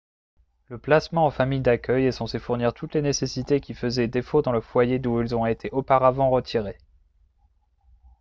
le placement en famille d'accueil est censé fournir toutes les nécessités qui faisaient défaut dans le foyer d'où ils ont été auparavant retirés